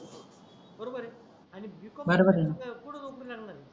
बरोबर आहे आणि b. कॉम शिवाय बरोबर आहे कुठ नोकरी लागणार आहे.